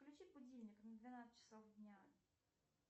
включи будильник на двенадцать часов дня